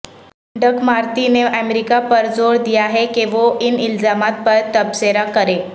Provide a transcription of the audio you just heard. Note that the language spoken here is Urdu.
ڈک مارٹی نے امریکہ پر زور دیا ہے کہ وہ ان الزامات پر تبصرہ کرے